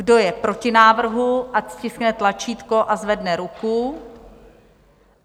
Kdo je proti návrhu, ať stiskne tlačítko a zvedne ruku.